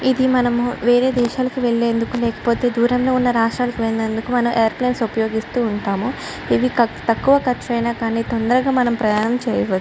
ఇది మనము వేరే దేశాలకు వెళ్లేందుకు లేకపోతే దూరంగా ఉన్న రాష్ట్రానికి వెళ్ళినందుకు మనం ఏరోప్లేన్ ఉపయోగిస్తూ ఉంటాము. ఇవి తక్కువ ఖర్చు అయినా కానీ తొందరగా మనం ప్రయాణం చేయవ--